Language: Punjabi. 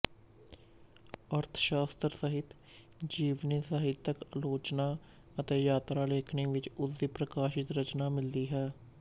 ਅਰਥ ਸ਼ਾਸਤਰ ਸਾਹਿਤ ਜੀਵਨੀ ਸਾਹਿਤਕ ਆਲੋਚਨਾ ਅਤੇ ਯਾਤਰਾ ਲੇਖਣੀ ਵਿੱਚ ਉਸਦੀ ਪ੍ਰਕਾਸ਼ਤ ਰਚਨਾ ਮਿਲਦੀ ਹੈ